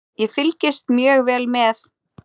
Ég fylgist mjög vel með.